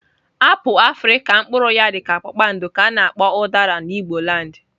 Apụl afrịka mpuru ya dika kpakpandọ ka ana akpo udara na igboland.